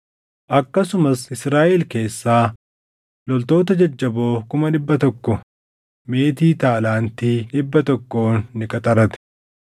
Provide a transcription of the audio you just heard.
Akkasumas Israaʼel keessaa loltoota jajjaboo kuma dhibba tokko meetii taalaantii + 25:6 Taalaantiin tokko kiiloo giraamii 34. dhibba tokkoon ni qaxarate.